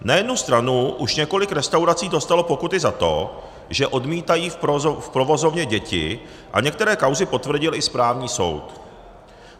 Na jednu stranu už několik restaurací dostalo pokuty za to, že odmítají v provozovně děti, a některé kauzy potvrdil i správní soud.